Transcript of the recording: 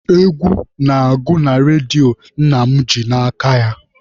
Egwu na-agụ na redio nna m ji n'aka ya.